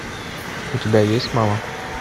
у тебя есть мама